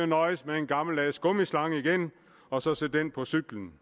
nøjes med en gammeldags gummislange igen og så sætte den på cyklen